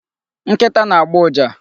Nkịta na-agbọ ụja.